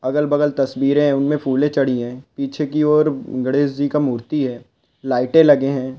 अगल-बगल तस्वीरे है उनमे फुले चढ़ी है पीछे कि ओर गणेश जी का मूर्ति है लाइटे लगे है।